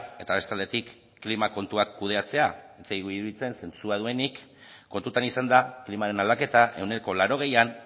eta beste aldetik klima kontuak kudeatzea ez zaigu iruditzen zentzua duenik kontutan izanda klimaren aldaketa ehuneko laurogeian